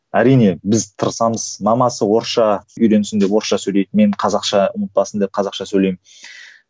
әрине біз тырысамыз мамасы орысша үйренсін деп орысша сөйлейді мен қазақша ұмытпасын деп қазақша сөйлеймін